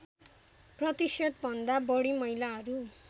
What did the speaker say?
प्रतिशतभन्दा बढी महिलाहरू